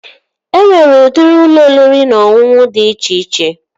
E nwere udiri ụlọ oriri na ọṅụṅụ dị iche iche